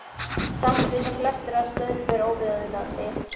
Samt vita flestir að stöðnun er óviðunandi.